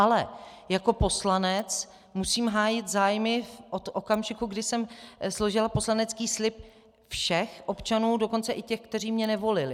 Ale jako poslanec musím hájit zájmy od okamžiku, kdy jsem složila poslanecký slib, všech občanů, dokonce i těch, kteří mě nevolili.